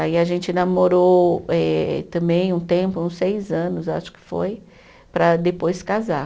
Aí a gente namorou eh também um tempo, uns seis anos, eu acho que foi, para depois casar.